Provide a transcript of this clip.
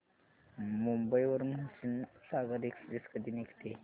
मुंबई वरून हुसेनसागर एक्सप्रेस कधी निघते